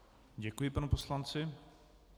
Děkuji panu poslanci.